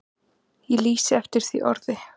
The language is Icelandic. Ég lýsi eftir því orði.